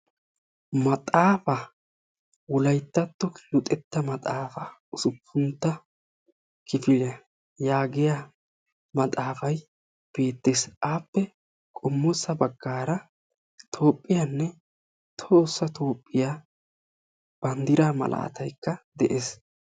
Maxaafa wolayttatto luxetta maxaafa usuppuntta kifiliya yagiya maxaafay beetees. appe qommo bagaara toophiyanne tohossa toophiya bandiraa malaatay beetees.